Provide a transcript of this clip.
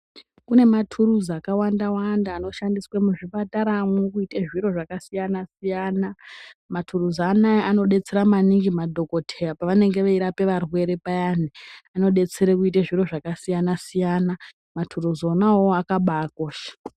Kune maturuzi akawanda wanda anoshandiswa muzvipataramwo kuita zviro zvakasiyana siyana. Maturuzi anaa anodetsera maningi madhokodheya pavanenge veirape varwere payani, anodetsera kuite zviro zvakasiyana siyana. Maturuzi onaa awawo akabaakosha.